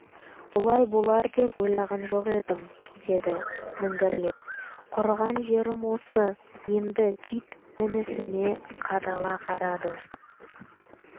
бұлай болар деп ойлаған жоқ едім деді міңгірлеп құрыған жерім осы енді кит інісіне қадала қарады